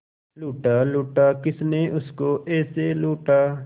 लूटा लूटा किसने उसको ऐसे लूटा